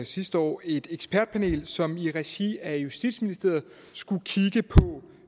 sidste år et ekspertpanel som i regi af justitsministeriet skulle kigge på